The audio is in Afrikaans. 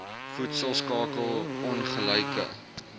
voedsel skakel ongelyke